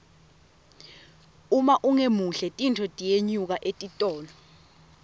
uma ungemuhle tinfo tiyenyuka etitolo